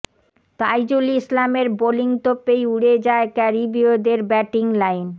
তাইজুল ইসলামের বোলিং তোপেই উড়ে যায় ক্যারিবীয়দের ব্যাটিং লাইন